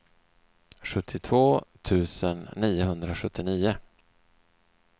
sjuttiotvå tusen niohundrasjuttionio